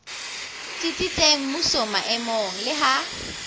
tsitsitseng mmusong maemong le ha